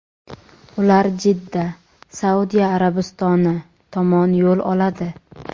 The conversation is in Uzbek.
ular Jidda (Saudiya Arabistoni) tomon yo‘l oladi.